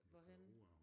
Hvorhenne?